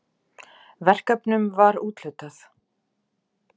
Verkefnum var úthlutað.